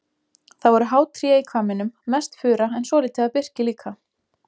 Það voru há tré í hvamminum, mest fura en svolítið af birki líka.